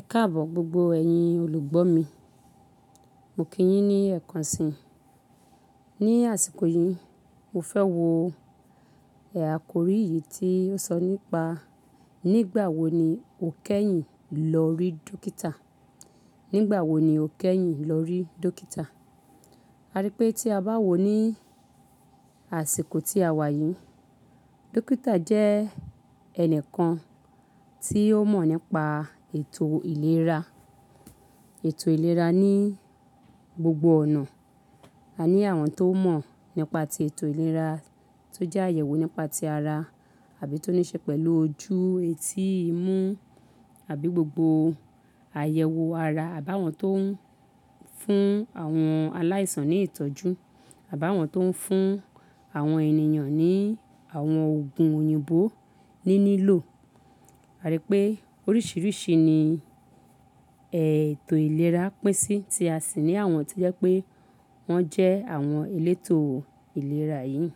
Ẹkáàbọ̀ gbogbo ẹ̀yin olùgbọ́ mi, mo kí yín ní ẹ̀kan sì. Ni àsìkò yìí, mo fẹ́ wo ẹ̀ akọ̀ri yìí tí ó sọ nípa nígbà wo ni o kẹ́yìn lọ rí dókítà. Nígbà wo ni o kẹ́yìn lọ rí dókítà. A rí pé tí a bá wò ó ní àsìkò tí a wà yìí, dókítà jẹ́ ẹnìkan tí ó mọ̀ nípa ètò ìlera. Ètò ìlera ní gbogbo ọ̀nà. A ní àwọn tó mọ̀ nípa ti ètò ìlera tó jẹ́ àyẹ̀wò nípa ti ara àbí tó níí ṣe pẹ̀lú ojú, etí, imú àbí gbogbo àyẹ̀wò ara àbi áwọn tó ń fún àwọn aláìsàn ní ìtọ́jú, àbá awọn tó ń fún àwọn ènìyàn ní àwọn òògùn òyìnbó níní lò. A rí pé oríṣìíríṣìí ni ẹ̀tò ìlera pín sí tí a sì ní àwọn tó jẹ́ pé wọ́n jẹ́ àwọn elétò ìlera yìí.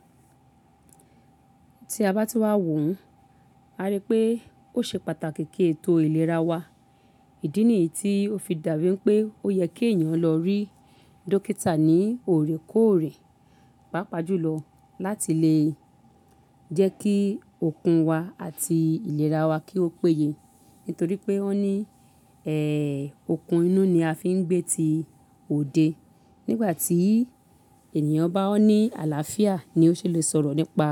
Tí a bá tú wá wò ó, a rí pé ó ṣe pàtàkì kí ètò ìlera wa, ìdí nìyí tí ó fi dàbí pé ó yẹ kí èeyàn lọ rí dókítà ní òrèkóòrè. Pápa jùlọ láti lè jẹ́ kí òkun wa àti ìlera wa kí ó péye. Nítorí pé wọn ọ́ ní, ẹ́, okun inú ni a fi ń gbé ti òde. Nígbà tí ènìyàn bá ní àlàáfíà ni ó ṣe lè sọ̀rọ̀ nípa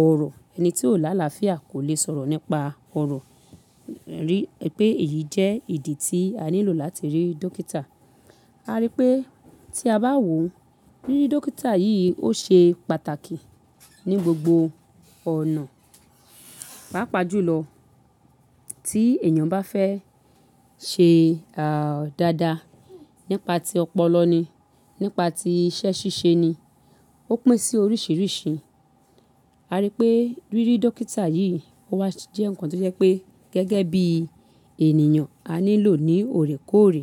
ọ̀rọ̀. Ẹni tí ò láalàáfíà kò lè sọ̀rọ̀ nípa ọ̀rọ̀. Rí pé èyí jẹ́ ìdí tí a nílò láti rí dókítà. A rí pé tí a bá wò ó, rírí dókítà yìí ó ṣe pàtàkì ní gbogbo ọ̀nà. Pápa jùlọ tí ènìyàn bá fẹ́ ṣe, àà, dáadáa nípa ti ọpọlọ ni, nípa ti iṣẹ́ ṣíṣe ni, ó pín sí oríṣìíríṣìí. A rí pé rírí dókítà yìí wá jẹ́ ǹkan tí jẹ́ pé gẹ́gẹ́ bí ènìyàn a nílò ní òrèkóòrè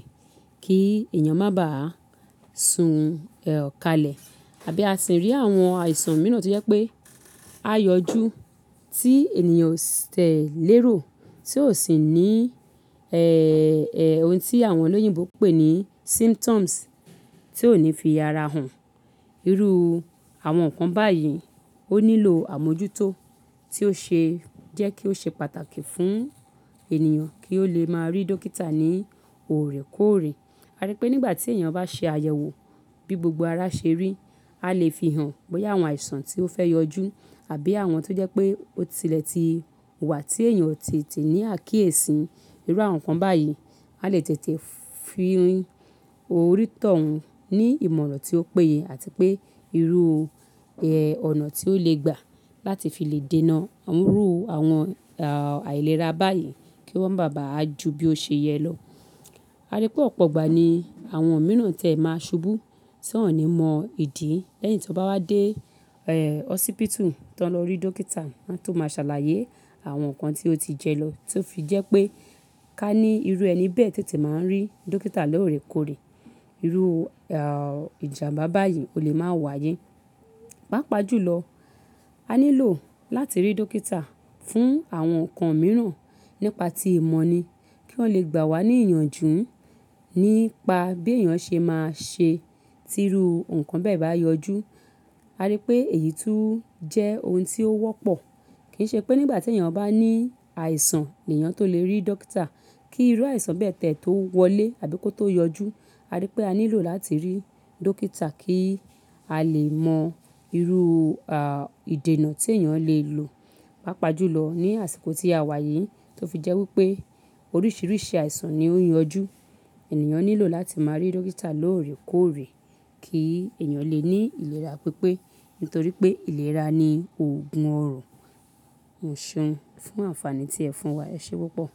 kí ènìyàn má bà a sùn ẹ́, kalẹ̀. Àbí a sì rí àwọn àìsàn mìíràn tí jẹ́ pé á yọjú tí ènìyàn tẹ̀ léèrò tí ò sì ní, ẹ́ ẹ́, ohun tí àwọn olóyìnbó pè ní symptoms tí ò ní fi ara hàn. Irú àwọn ǹkan báyìí ó nílò àmójútó tí ó ṣe jẹ́ kí ó ṣe pàtàkì fún ènìyàn kí ó lè máa rí dókítà ní òrèkóòrè. A rí pé nígbà tí èeyàn bá ṣe àyẹ̀wò bí gbogbo ara ṣe rí, a lè fi hàn bóyá àwọn àìsàn tí ó fẹ́ yọjú àbí àwọn tó jẹ́ pé ó tilẹ̀ ti wà tí èeyàn ò tẹtẹ ní àkíyèsí. Irú àwọn ǹkan báyìí, a lè tètè fi oni tọ̀un ní ìmọ̀ràn tí ó péye àti pé irú, ẹ́, ọ̀nà tí ó lè gbà láti fi lè dènà irú àwọn, àà, àìlera báyìí kí wọ́n má bà a ju bí ó ṣe yẹ lọ. A rí pé ọ̀pọ̀ ọgbà ní àwọn mìíràn tẹ̀ máa ṣubú tí wọ́n ò ní mọ ìdí. Lẹ́yìn tí wọ́n bá wá dé, ẹ́, hósípítù tán lọ rí dókítà, wọ́n tó máa ṣàlàyé àwọn ǹkan tí ó ti jẹ lọ tí ó fi jẹ́ pé ká ní irú ẹni bẹ́ẹ̀ tètè máa ń rí dókítà lóòrèkóòrè. Irú, àà, ìjàmbá báyìí ò lè máa wáyé. Pápa jùlọ, a nílò láti rí dókítà fún àwọn ǹkan mìíràn nípa ti ìmọ̀ ni kí wọ́n lè gbà wá ní ìyànjú nípa bí èèyàn ṣe máa ṣe tí irú ǹkan bẹ́ẹ̀ bá yọjú. A rí pé èyí tún jẹ́ ohun tí ó wọ́pọ̀. Kìí ṣe pé nígbà tí ènìyàn bá ní àìsàn ni èèyàn tó lè rí dókítà. Kí irú àìsàn bẹ́ẹ̀ tẹ́ẹ̀ tó wọlé àbí kó tó yọjú. A rí pé a nílò láti rí dókítà kí a lè mọ irú, àà, ìdènà tí èèyàn lè lò. Pápa jùlọ ní àsìkò tí a wà yìí tí ó fi jẹ́ wípé oríṣìíríṣìí àìsàn ni ó ń yọjú. Ẹ̀nìyàn nílò láti máa rí dókítà lóòrèkóòrè kí èèyàn lè ní ìlera pípé. Nítorí pé ìlera ni òògùn ọrọ̀. Fún àǹfààní tí ẹ fún wa. Ẹ ṣé púpọ̀.